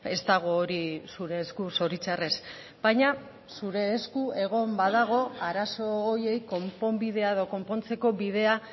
ez dago hori zure esku zoritxarrez baina zure esku egon badago arazo horiei konponbidea edo konpontzeko bidea